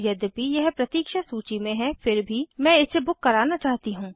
यद्यपि यह प्रतीक्ष सूची में है फिर भी मैं इसे बुक कराना चाहती हूँ